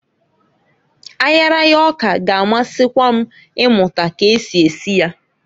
Ayaraya ọka g' amasikwa m imụta ka esi esi ya.